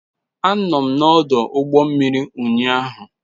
Anọ m n'ọdụ ụgbọ mmiri ụnyaahụ.